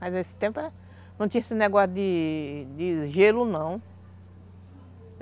Mas nesse tempo não tinha esse negócio de de gelo, não.